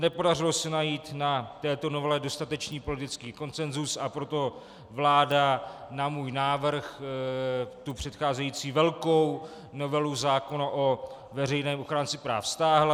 Nepodařilo se najít na této novele dostatečný politický konsenzus, a proto vláda na můj návrh tu předcházející velkou novelu zákona o veřejném ochránci práv stáhla.